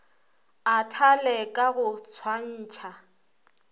a thale ka go swantšha